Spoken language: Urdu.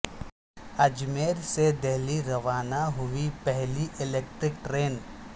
اجمیر سے دہلی روانہ ہوئی پہلی الیکٹرک ٹرین